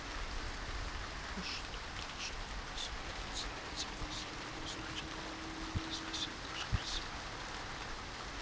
но что должно было следовать за этим последним значит коля не произносил даже про себя